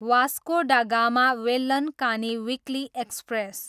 Vasco da Gama, Velankanni weekly express